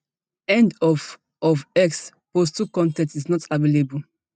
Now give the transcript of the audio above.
end of of x post two con ten t is not available